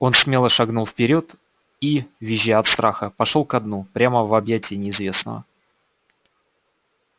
он смело шагнул вперёд и визжа от страха пошёл ко дну прямо в объятия неизвестного